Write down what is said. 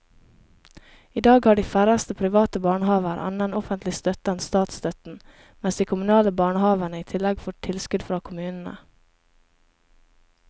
I dag har de færreste private barnehaver annen offentlig støtte enn statsstøtten, mens de kommunale barnehavene i tillegg får tilskudd fra kommunene.